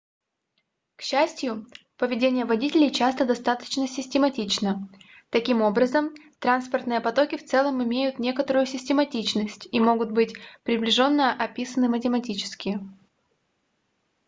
к счастью поведение водителей часто достаточно систематично таким образом транспортные потоки в целом имеют некоторую систематичность и могут быть приближенно описаны математически